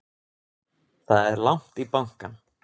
Það er langt í bankann!